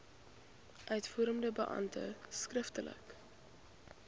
uitvoerende beampte skriftelik